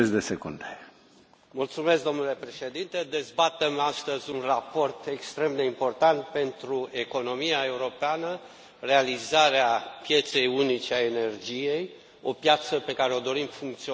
Domnule Președinte, dezbatem astăzi un raport extrem de important pentru economia europeană, realizarea pieței unice a energiei, o piață pe care o dorim funcțională și eficientă.